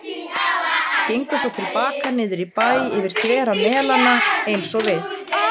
Gengu svo til baka niður í bæ yfir þvera Melana eins og við.